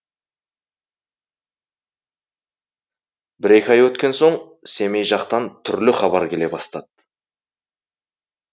бір екі ай өткен соң семей жақтан түрлі хабар келе бастады